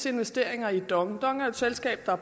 investeringer i dong dong er jo et selskab der